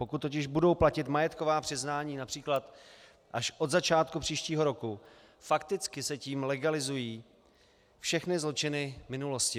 Pokud totiž budou platit majetková přiznání například až od začátku příštího roku, fakticky se tím legalizují všechny zločiny minulosti.